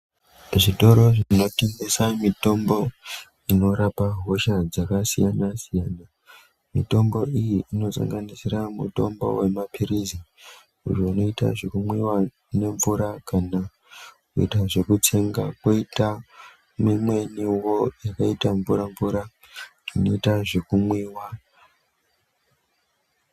Zvitoro zvinotengesa mitombo inorapa hosha dzakasiyana-siyana. Mitombo iyi inosanganisira mutombo wemaphirizi, ayo anoita zvekumwiwa nemvura kana kuita zvekutsenga kwoita mimweniwo yakaita mvura-mvura inoita zvekumwiwa.